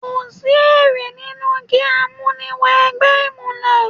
Kò sí èrè nínú kí á mú ni wọ ẹgbẹ́ ìmùlẹ̀.